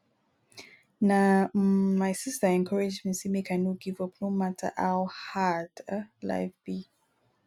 na um my sista encourage me sey make i no give up no matter how hard um life be